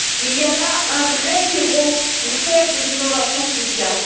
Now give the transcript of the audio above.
Il y a là un vrai terreau pour faire de l'innovation sociale.